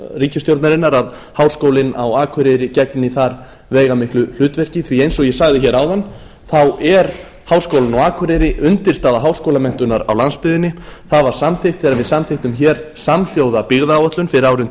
ríkisstjórnarinnar að háskólinn á akureyri gegni þar veigamiklu hlutverki því eins og ég sagði hér áðan þá er háskólinn á akureyri undirstaða háskólamenntunar á landsbyggðinni það var samþykkt þegar við samþykktum hér samhljóða byggðaáætlun fyrir árin tvö